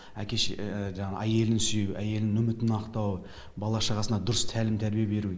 жаңағы әйелін сүю әйелінің үмітін ақтау бала шағасына дұрыс тәлім тәрбие беру